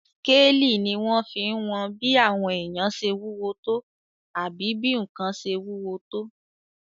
Skélì ní wọ́n fí n wọn bí àwọn èèyàn ṣe wúwo tó àbí bí ǹkan ṣe wúwo tó